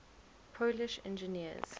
polish engineers